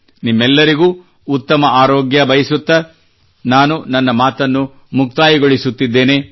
ನಿಮ್ಮೆಲ್ಲರಿಗೂ ಉತ್ತಮ ಆರೋಗ್ಯ ಬಯಸುತ್ತಾ ನಾನು ನನ್ನ ಮಾತನ್ನು ಮುಕ್ತಾಯಗೊಳಿಸುತ್ತಿದ್ದೇನೆ